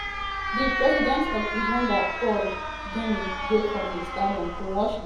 di um president of rwanda paul kagame dey for di stadium to watch di game.